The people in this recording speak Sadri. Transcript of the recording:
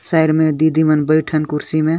साइड में दीदी मन बैइठ अहंय कुर्सी में --